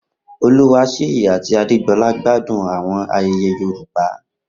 Oluwaseyi ati Adégbolá gbádùn àwọn ayẹyẹ Yorùbá.